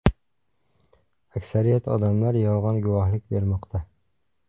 Aksariyat odamlar yolg‘on guvohlik bermoqda.